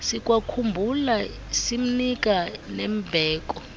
sikwakhumbula simnika nembeko